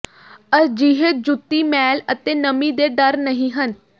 ਅਜਿਹੇ ਜੁੱਤੀ ਮੈਲ ਅਤੇ ਨਮੀ ਦੇ ਡਰ ਨਹੀ ਹਨ